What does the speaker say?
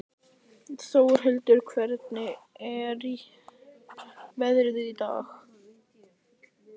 Þórhildur, hvernig er veðrið í dag?